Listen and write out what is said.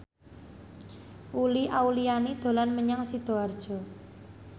Uli Auliani dolan menyang Sidoarjo